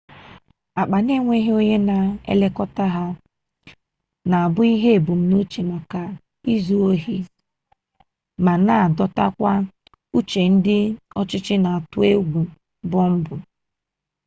akpa na-enweghị onye na-elekọta ha na-abụ ihe ebumnuche maka izu ohi ma na-adọtakwa uche ndị ọchịchị na-atụ egwu bọmbụ